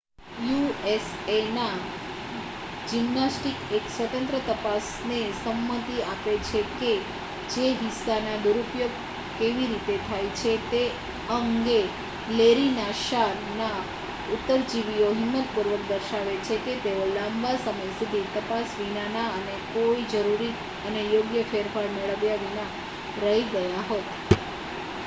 USA ના gymnastic એક સ્વતંત્ર તપાસ ને સંમતિ આપે છે જે હિસ્સા ના દુરુપયોગ કેવી રીતે થાય છે તે અંગે લેરી નાસ્સાર ના ઉત્તરજીવીઓ હિંમત પૂર્વક દર્શાવે છે કે તેઓ લાંબા સમય સુધી તપાસ વિનાના અને કોઈ જરૂરી અને યોગ્ય ફેરફાર મેળવ્યા વિના રહી ગયા હોત